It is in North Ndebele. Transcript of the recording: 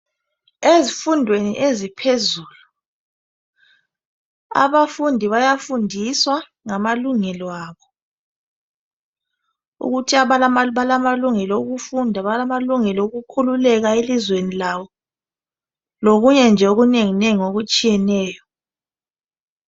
Ezifundweni eziphezulu, abafundi bayafundiswa ngamalungelo abo ukuthi balamalungelo okufunda, balamalungelo okukhululeka elizweni labo, lokunye nje okunenginengi okutshiyeneyo